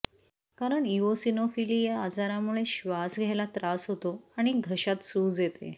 कारण इओसिनोफिलीया आजारामुळे श्वास घ्यायला त्रास होतो आणि घशात सूज येते